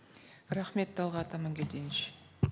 рахмет талғат амангельдинович